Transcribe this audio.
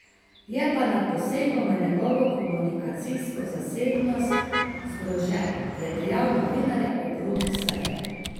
Je pa nad posegom v njegovo komunikacijsko zasebnost zgrožen, je dejal novinarjem ob robu seje.